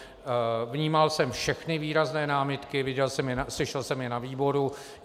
Vnímal jsem všechny výrazné námitky, slyšel jsem je ve výboru.